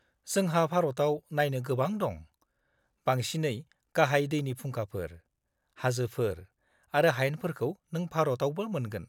-जोंहा भारताव नायनो गोबां दं, बांसिनै गाहाय दैनि फुंखाफोर, हाजोफोर आरो हायेनफोरखौ नों भारतावबो मोनगोन।